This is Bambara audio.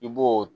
I b'o